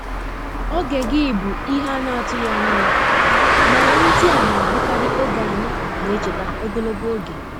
Oge gị bụ ihe a na-atụghị anya ya, mana ndị a na-abụkarị oge anyị na-echeta ogologo oge.